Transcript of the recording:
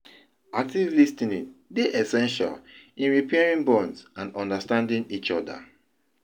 active lis ten ing dey essential in repairing bonds and understanding each oda.